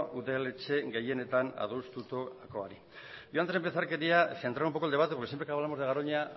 udaletxe gehienetan adostutakoari yo antes de empezar quería centrar un poco el debate porque siempre que hablamos de garoña